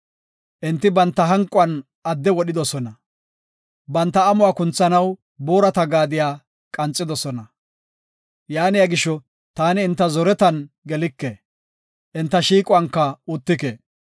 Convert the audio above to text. Enti banta hanquwan adde wodhidosona, banta amuwa kunthanaw boorata gaadiya qanxidosona. Yaaniya gisho, taani enta zoretan gelike; enta shiiquwanka uttike.